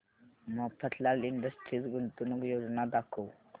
Mafatlal industries गुंतवणूक योजना दाखव